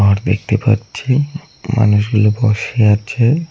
ঘর দেখতে পাচ্ছি মানুষগুলো বসে আছে।